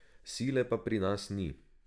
Sile pa pri nas ni.